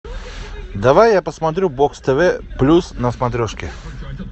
давай я посмотрю бокс тв плюс на смотрешке